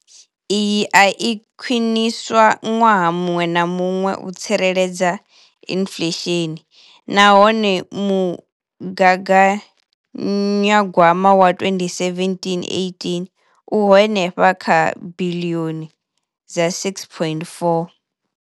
Iyi i a khwiniswa ṅwaha muṅwe na muṅwe u tsireledza inflesheni nahone mugaganya gwama wa 2017,18 u henefha kha biḽioni dza R6.4.